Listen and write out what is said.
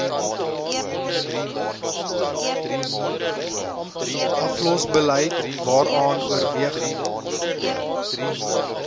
aflosbeleid waaraan oorweging